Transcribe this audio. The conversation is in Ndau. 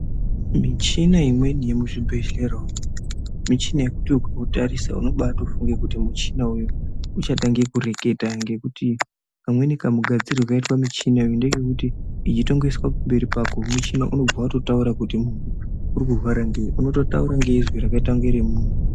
Michina imweni yemuzvibhedhlera umwu muchina wekuti ukautarisa unobatofunga kuti muchina uyu uchatanga kureketa ngekuti kamweni kamugadzirirwe kakaita muchina uyu ngekuti weitongoiswa pamberi pako wototanga kureketa kuti uri kurwara ngei unototaura ngezwi rakaita remuntu.